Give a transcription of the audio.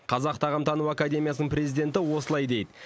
қазақ тағамтану академиясының президенті осылай дейді